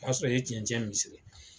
O y'a sɔrɔ i ye tiɲɛn tiɲɛn